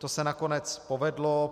To se nakonec povedlo.